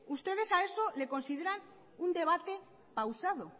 ustedes a eso le consideran un debate pausado